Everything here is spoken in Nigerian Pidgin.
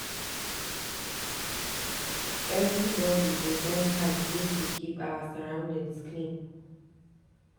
Everybodi go join hand make we keep our surroundings clean.